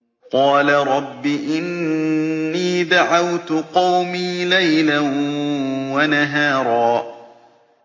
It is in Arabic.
قَالَ رَبِّ إِنِّي دَعَوْتُ قَوْمِي لَيْلًا وَنَهَارًا